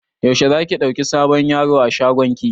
Yaushe za ki ɗauki sabon yaro a shagon ki?